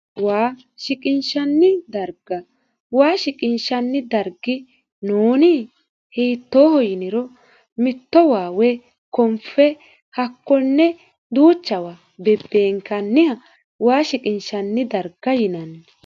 waa shiqinshanni darga waa shiqinshanni darg nooni hittooho yiniro mitto waa woye konfe hakkonne duuchawa bebbeenkanniha waa shiqinshshanni darga yinanni